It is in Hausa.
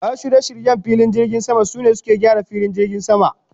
Masun shirye-shiryen filin jirgin sama, sune suke gyaran filin jirgin sama.